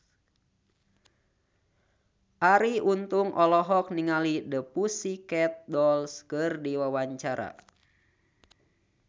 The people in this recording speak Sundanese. Arie Untung olohok ningali The Pussycat Dolls keur diwawancara